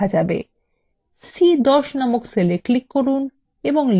c10 নামক cell এ click করুন এবং লিখুন